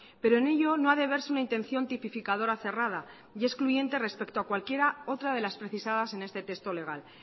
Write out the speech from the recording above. pero en ello no ha de verse una intención tipificadora cerrada y excluyente respecto a cualquier otra de las precisadas en este texto legal